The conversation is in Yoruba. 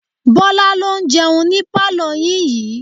Bọ́lá ló ń jẹun ní pálọ̀ yín yii